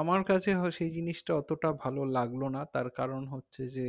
আমার কাছে সেই জিনিসটা অতটা ভালো লাগলো না তারকারণ হচ্ছে যে